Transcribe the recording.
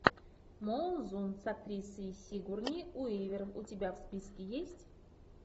молзун с актрисой сигурни уивер у тебя в списке есть